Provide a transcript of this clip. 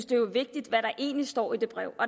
det vigtigt hvad der egentlig står i det brev